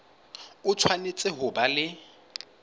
o tshwanetse ho ba le